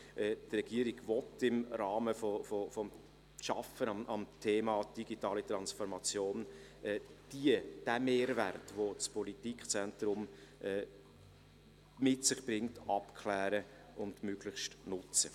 Die Regierung will im Rahmen der Arbeit am Thema der digitalen Transformation den Mehrwert, den dieses politische Zentrum mit sich bringt, abklären und möglichst gut nutzen.